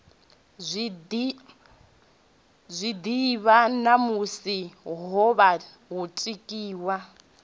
zwiḓivha ṋamusi wovha wo tikiwa